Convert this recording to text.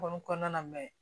Kɔni kɔnɔna na